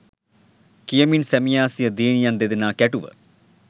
කියමින් සැමියා සිය දියණියන් දෙදෙනා කැටුව